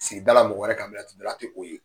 Sigidala mɔgɔ wɛrɛ ka bila bila ti o ye.